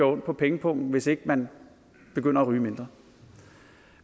ondt på pengepungen hvis ikke man begynder at ryge mindre